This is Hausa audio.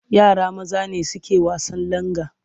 Yara maza ne suke wasan langa.